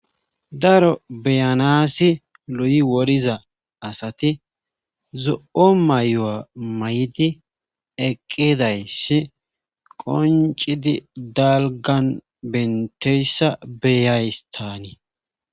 daro beyanaassi lu7i woriza asati zo7o may7o7a may7di eqqidayssi qoncidi dalgan benteyssa be7ays taanii